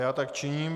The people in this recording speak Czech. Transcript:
Já tak činím.